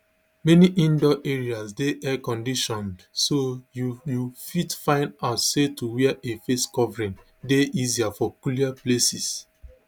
many indoor areas dey airconditioned so you you fit find out say to wear a face covering dey easier for cooler places